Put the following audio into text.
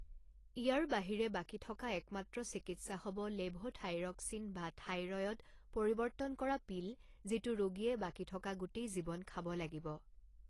ইয়াৰ বাহিৰে বাকী থকা একমাত্ৰ চিকিৎসা হ'ব লেভ'থাইৰ'ক্সিন, বা থাইৰয়ড পৰিৱৰ্তন কৰা পিল যিটো ৰোগীয়ে বাকী থকা গোটেই জীৱন খাব লাগিব।